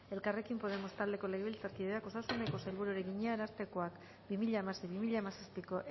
elkarrekin podemos taldeko legebiltzarkideak osasuneko sailburuari egina arartekoak bi mila hamasei bi mila hamazazpiko